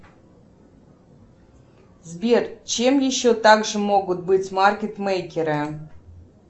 сбер чем еще так же могут быть маркетмейкеры